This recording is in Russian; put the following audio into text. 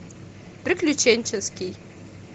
приключенческий